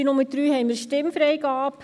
Bei Nummer 3 haben wir Stimmfreigabe.